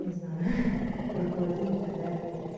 не знаю ха ха руководитель так далее